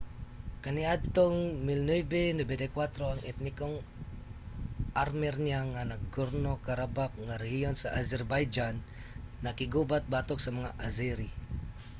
kaniadtong 1994 ang etnikong armernia nga nagorno-karabakh nga rehiyon sa azerbaijan nakiggubat batok sa mga azeri